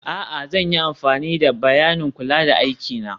a'a, zan yi amfani da bayanin kula don aiki na